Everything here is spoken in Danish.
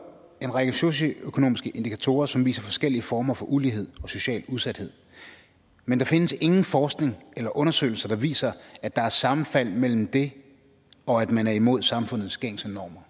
en række socio økonomiske indikatorer som viser forskellige former for ulighed og social udsathed men der findes ingen forskning eller undersøgelser der viser at der er sammenfald mellem det og at man er imod samfundets gængse normer